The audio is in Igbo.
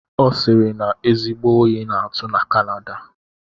Ọ sịrị na ezigbo oyi na-atụ na kanada